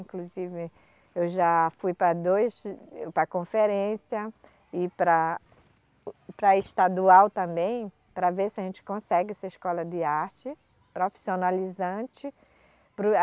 Inclusive, eu já fui para dois, para conferência e para, para estadual também, para ver se a gente consegue essa escola de arte profissionalizante, para o